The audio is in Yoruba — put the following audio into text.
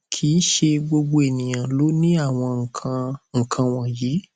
kì í ṣe gbogbo ènìyàn ló ní àwọn nkan nkan wọnyí